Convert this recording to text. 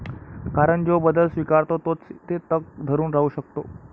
कारण जो बदल स्वीकारतो तोच येथे तग धरून राहू शकतो.